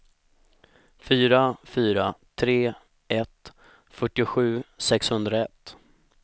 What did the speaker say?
fyra fyra tre ett fyrtiosju sexhundraett